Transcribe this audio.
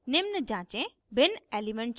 निम्न जाँचें 1 भिन्न element charts